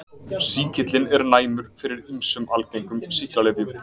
Sýkillinn er næmur fyrir ýmsum algengum sýklalyfjum.